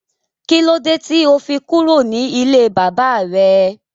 Kílódé tí ó fi kúrò ní ilé bàbà rẹ